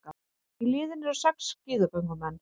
Í liðinu eru sex skíðagöngumenn